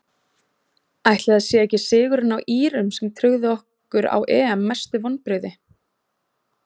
Ætli það sé ekki sigurinn á írum sem tryggði okkur á EM Mestu vonbrigði?